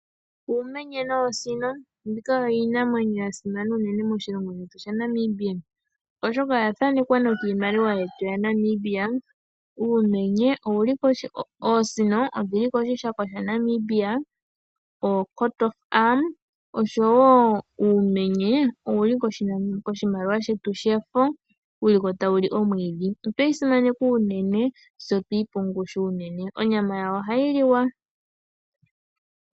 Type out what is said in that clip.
Uumenye noosino. Mbika oyo iinamwenyo ya simana unene moshilongo shetu shaNamibia, oshoka oya thanekwa nokiimaliwa yetu yaNamibia. Oosino odhi li koshikako shaNamibia nosho wo uumenye ou li koshimaliwa shetu shefo, wu li ko tawu li omwiidhi. Otwe yi simaneka unene, tse otweyi pa ongushu unene. Onyama yawo ohayi liwa.